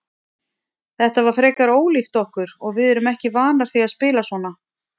Þetta var frekar ólíkt okkur og við erum ekki vanar því að spila svona.